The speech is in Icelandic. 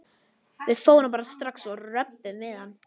Við förum bara strax og röbbum við hann.